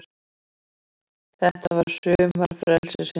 Þetta var sumar frelsisins.